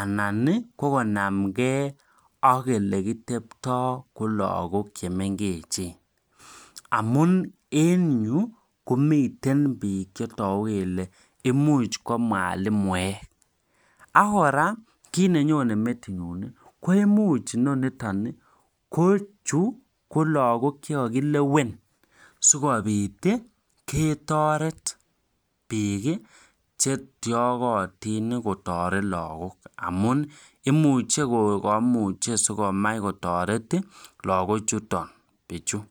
anan nii ko konamgee ak ole kiteptoo ko lokok chemengechen amun en yuu komiten bik chetoku kele imuch komwalimuek ak koraa kit nenyone netinye nii ko imuch noniton ko chuu ko lokok chekokilewen sikopit ketoret bik chetyokotin kotoret kotoret lokok amun imuche ko komuche sikomai kotoret lokok chuton bichu.